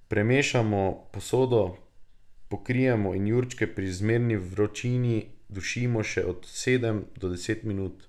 Premešamo, posodo pokrijemo in jurčke pri zmerni vročini dušimo še od sedem do deset minut.